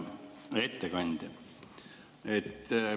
Hea ettekandja!